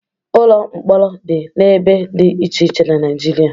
Ụlọ mkpọrọ dị n'ebe dị iche iche na Naịjirịa.